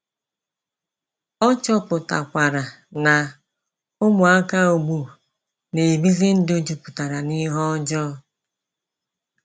Ọ chọpụtakwara na, ụmụaka ugbu n’ebezi ndụ juputara n'ihe ọjọọ .”